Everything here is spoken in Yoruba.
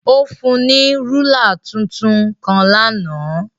Ó fún un ní rúla tuntun kan lánàá.